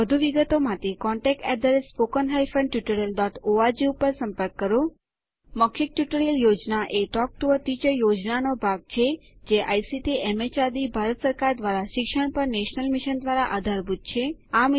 વધુ વિગતો માટે contactspoken tutorialorg ઉપર સંપર્ક કરો મૌખિક ટ્યુટોરીયલ યોજના એ ટોક ટુ અ ટીચર યોજનાનો ભાગ છે જે આઇસીટીએમએચઆરડીભારત સરકાર દ્વારા શિક્ષણ પર નેશનલ મિશન દ્વારા આધારભૂત છે